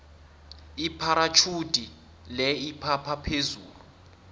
ipharatjhudi le iphapha phezulu